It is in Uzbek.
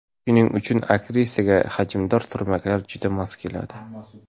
Shuning uchun aktrisaga hajmdor turmaklar juda mos keladi.